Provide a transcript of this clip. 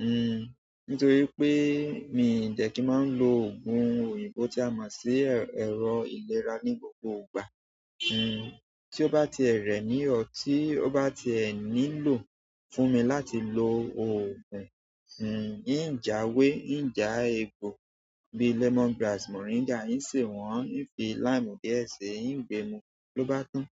N nítorí pé mi dẹ̀ kí máa ń lo òògùn òyìnbó tí a máa ń ṣe ẹ̀rọ ìlera ní gbogbo ìgbà. Ti o ba ti e re mi or ti o ba ti e nílò fún mi láti lo ogun, n ja ewe n ja egbo bi lemon grass, moringa nsi won nfi loke díẹ̀ si loba tan.